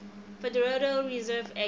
federal reserve act